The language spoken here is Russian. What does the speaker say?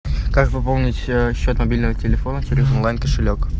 как пополнить счет мобильного телефона через онлайн кошелек